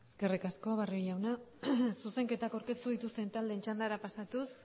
eskerrik asko barrio jauna zuzenketak aurkeztu dituzten taldeen txandara pasatuz